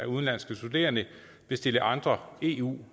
udenlandske studerende vil stille andre eu